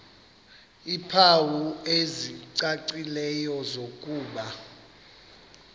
iimpawu ezicacileyo zokuba